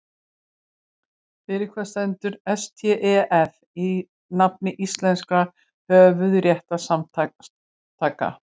Fyrir hvað stendur STEF í nafni íslenskra höfundarréttarsamtaka?